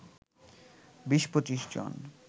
২০-২৫ জন